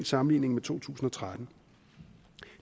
sammenligning med to tusind og tretten